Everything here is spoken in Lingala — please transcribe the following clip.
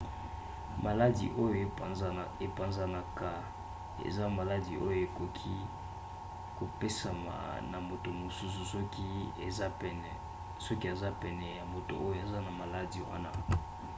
maladi oyo epanzanaka eza maladi oyo ekoki kopesama na moto mosusu soki aza pene ya moto oyo aza na maladi wana